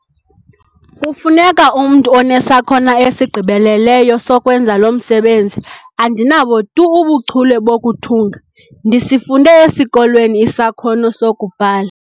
Kufuneka umntu onesakhono esigqibeleleyo sokwenza lo msebenzi. andinabo tu ubuchule bokuthunga, ndisifunde esikolweni isakhono sokubhala